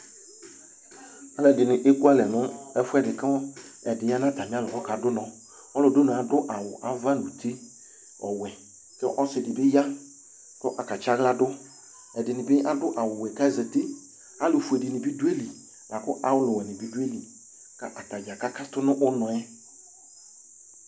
Aalʋɛɖini ekʋalɛ nʋ ɛfuɛɖi kʋ ɛɖini yaa n'atamialɔ k'aɖŋnɔƆlʋɖʋnɔɛ aɖʋ awu ava nʋ uti ɔwuɛ kʋ ɔsiɖibi ya kʋ ɔka tsi aɣla ɖʋƐɖinibi aɖʋ awu wuɛ k'azatiAalʋ fueni bi dʋ ayili akʋ Aalʋ wuɛnibi dʋ ayili k'atadza k'akatʋ nʋ ʋnɔɛ